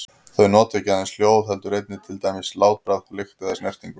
Þau nota ekki aðeins hljóð heldur einnig til dæmis látbragð, lykt eða snertingu.